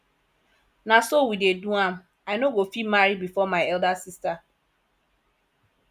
na so we dey do am i no go fit marry before my elder sister